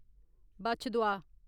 बच्छ-दुआ